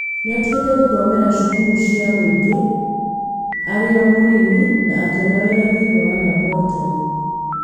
Nĩatigire gũthomera cukuru cia mũingĩ arĩo mũnini na akĩona wĩra thĩinĩ wa laboratorĩ